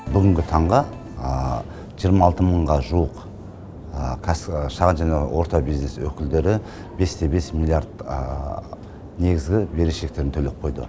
бүгінгі таңға жиырма алты мыңға жуық шағын және орта бизнес өкілдері бесте бес миллиард негізгі берешектерін төлеп қойды